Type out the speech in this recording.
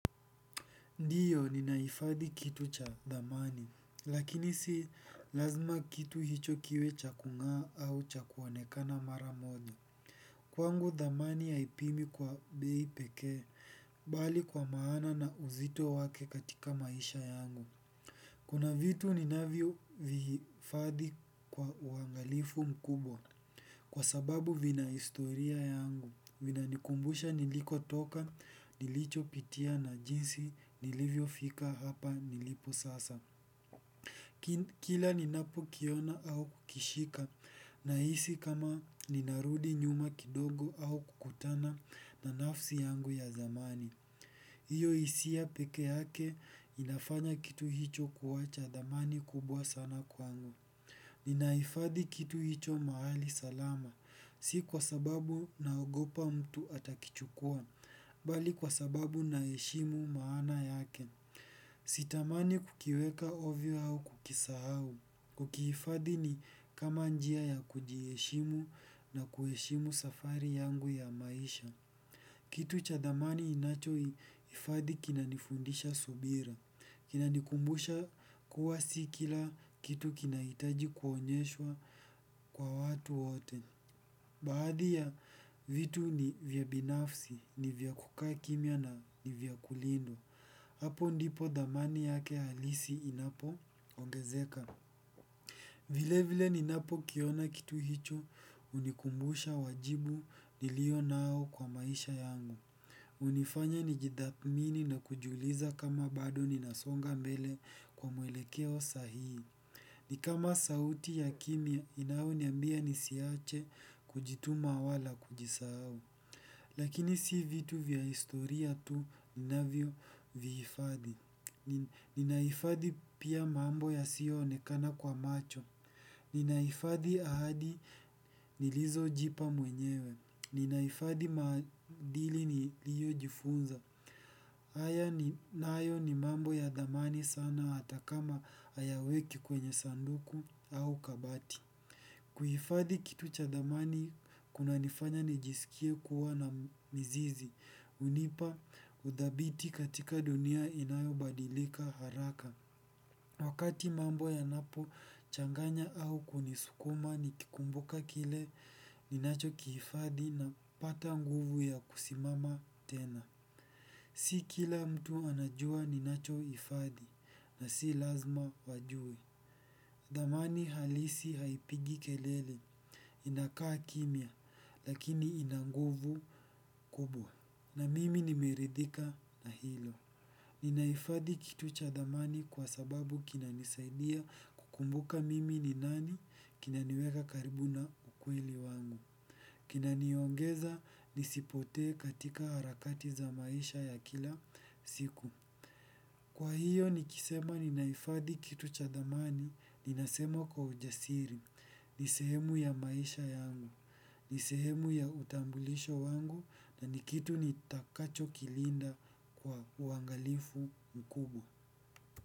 Ndiyo ninahifadhi kitu cha thamani lakini si lazima kiti hicho kiwe cha kung'aa au cha kuonekana mara moja. Kwangu thamani haipimwi kwa bei pekee, bali kwa maana na uzito wake katika maisha yangu. Kuna vitu ninavyovihifadhi kwa uangalifu mkubwa. Kwa sababu vina historia yangu, vinanikumbusha nilikotoka, nilichopitia na jinsi, nilivyofika hapa nilipo sasa. Kila ninapokiona au kukishika, nahisi kama ninarudi nyuma kidogo au kukutana na nafsi yangu ya zamani. Hiyo hisia peke yake, inafanya kitu hicho kuwa cha thamani kubwa sana kwangu. Ninahifadhi kitu hicho mahali salama, si kwa sababu naogopa mtu atakichukua, bali kwa sababu naheshimu maana yake. Sitamani kukiweka ovyo au kukisahau. Kukihifadhi ni kama njia ya kujiheshimu na kuheshimu safari yangu ya maisha. Kitu cha thamani ninachohifadhi kinanifundisha subira. Kinanikumbusha kuwa si kila kitu kinahitaji kuonyeshwa kwa watu wote. Baadhi ya vitu ni vya binafsi, ni vya kukaa kimya na ni vya kulindwa. Hapo ndipo thamani yake halisi inapoongezeka. Vilevile ninapokiona kitu hicho, hunikumbusha wajibu nilionao kwa maisha yangu. Hunifanya nijithamini na kujiuliza kama bado ninasonga mbele kwa mwelekeo sahii. Ni kama sauti ya kimya, inayoniambia nisiache kujituma wala kujisahau. Lakini si vitu vya historia tu ninavyovihifadhi. Ninahifadhi pia mambo yasiyoonekana kwa macho. Ninahifadhi ahadi nilizojipa mwenyewe. Ninahifadhi maadili niliyojifunza. Haya nayo ni mambo ya thamani sana hata kama hayaweki kwenye sanduku au kabati. Kuhifadhi kitu cha thamani kunanifanya nijisikie kuwa na mizizi hunipa uthabiti katika dunia inayobadilika haraka. Wakati mambo yanapochanganya au kunisukuma nikikumbuka kile ninachokihifadhi napata nguvu ya kusimama tena. Si kila mtu anajua ninachohifadhi na si lazima wajue. Thamani halisi haipigi kelele inakaa kimya lakini ina nguvu kubwa. Na mimi nimeridhika na hilo. Ninahifadhi kitu cha thamani kwa sababu kinanisaidia kukumbuka mimi ni nani kinaniweka karibu na ukweli wangu. Kina niongeza nisipote katika harakati za maisha ya kila siku. Kwa hiyo nikisema ninahifadhi kitu cha thamani ninasema kwa ujasiri. Ni sehemu ya maisha yangu. Ni sehemu ya utambulisho wangu na ni kitu nitakachokilinda kwa uangalifu mkubwa.